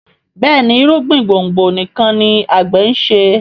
Béèni irúgbìn gbòngbò nìkàn ní agbe nṣe.